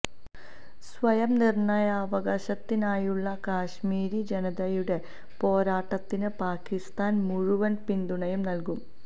സ്വയം നിര്ണയാവകാശത്തിനായുള്ള കശ്മീരി ജനതയുടെ പോരാട്ടത്തിന് പാകിസ്താന് മുഴുവന് പിന്തുണയും നല്കും